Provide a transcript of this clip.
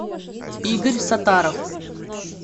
игорь саттаров